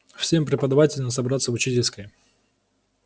всем преподавателям собраться в учительской